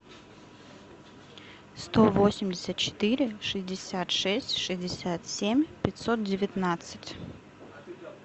сто восемьдесят четыре шестьдесят шесть шестьдесят семь пятьсот девятнадцать